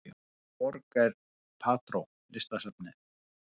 Í hvaða borg er Prado listasafnið?